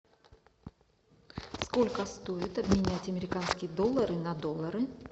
сколько стоит обменять американские доллары на доллары